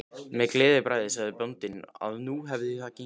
Með gleðibragði sagði bóndinn að nú hefði það gengið.